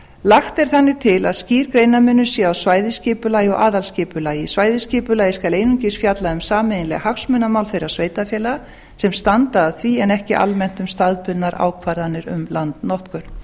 lagt er þannig til að skýr greinarmunur sé á svæðisskipulagi og aðalskipulagi svæðisskipulagið skal einungis fjalla um sameiginleg hagsmunamál þeirra sveitarfélaga sem standa að því en ekki almennt um staðbundnar ákvarðanir um landnotkun